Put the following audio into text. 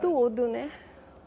Tudo, né?